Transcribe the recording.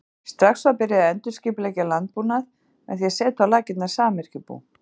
strax var byrjað að endurskipuleggja landbúnað með því að setja á laggirnar samyrkjubú